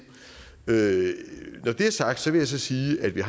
når det er sagt vil jeg så sige at vi